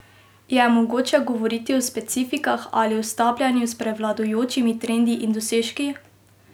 Je mogoče govoriti o specifikah ali o stapljanju s prevladujočimi trendi in dosežki?